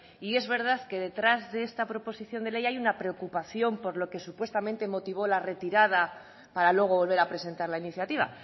y es verdad que detrás de esta proposición de ley hay una preocupación por lo que supuestamente motivó la retirada para luego volver a presentar la iniciativa